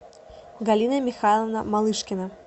галина михайловна малышкина